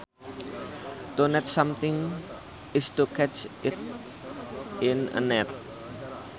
To net something is to catch it in a net